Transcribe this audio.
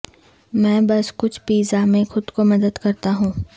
میں بس کچھ پیزا میں خود کو مدد کرتا ہوں